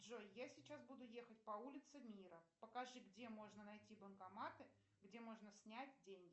джой я сейчас буду ехать по улице мира покажи где можно найти банкоматы где можно снять деньги